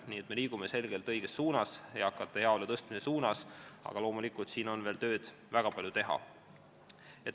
Nii et me liigume selgelt õiges suunas, eakate heaolu tõstmise suunas, aga loomulikult on siin veel väga palju tööd teha.